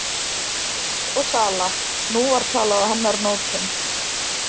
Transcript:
Kaup og sala, nú var talað á hennar nótum.